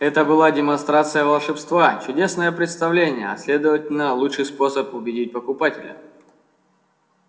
это была демонстрация волшебства чудесное представление а следовательно лучший способ убедить покупателя